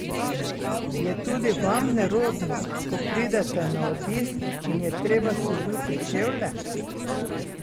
Je tudi vam nerodno, ko pridete na obisk in je treba sezuti čevlje?